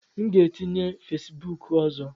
M ga-etinye Fesibuku ọzọ.